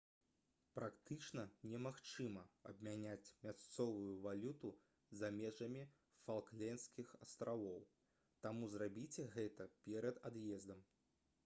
практычна немагчыма абмяняць мясцовую валюту за межамі фалклендскіх астравоў таму зрабіце гэта перад ад'ездам